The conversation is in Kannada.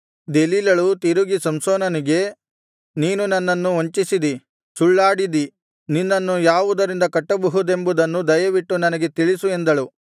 ದೆಲೀಲಳು ತಿರುಗಿ ಸಂಸೋನನಿಗೆ ನೀನು ನನ್ನನ್ನು ವಂಚಿಸಿದಿ ಸುಳ್ಳಾಡಿದಿ ನಿನ್ನನ್ನು ಯಾವುದರಿಂದ ಕಟ್ಟಬಹುದೆಂಬುದನ್ನು ದಯವಿಟ್ಟು ನನಗೆ ತಿಳಿಸು ಎಂದಳು